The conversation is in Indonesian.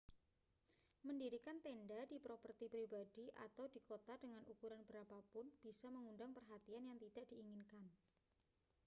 mendirikan tenda di properti pribadi atau di kota dengan ukuran berapa pun bisa mengundang perhatian yang tidak diinginkan